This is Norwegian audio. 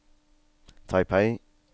Taipei